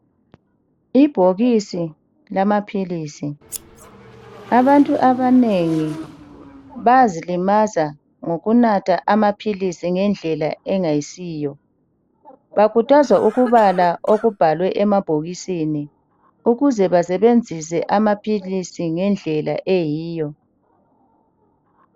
Ibhokisi lamaphilisi . Abantu abanengi bayazilimaza ngokunatha amaphilisi ngendlela engayisiyo. Bakhuthazwa ukubala okubhalwe emabhokisini ukuze basebenzise amaphilisi ngendlela eyiyo.